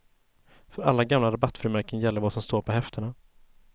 För alla gamla rabattfrimärken gäller vad som står på häftena.